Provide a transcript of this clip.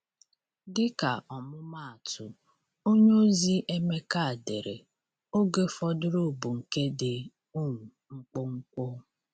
Dịka ọmụmaatụ, onyeozi Emeka dere: “Oge fọdụrụ bụ nke dị um mkpụmkpụ.”